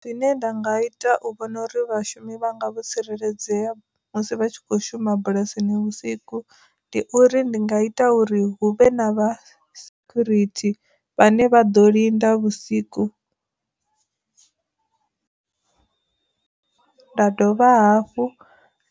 Zwine nda nga ita u vhona uri vhashumi vhanga vho tsireledzea musi vha tshi kho shuma bulasini vhusiku ndi uri ndi nga ita uri huvhe na vha sekhurithi vhane vha ḓo linda vhusiku . Nda dovha hafhu